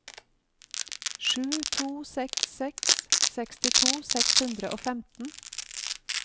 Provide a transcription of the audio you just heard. sju to seks seks sekstito seks hundre og femten